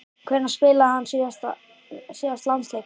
Hvenær spilaði hann síðast landsleik?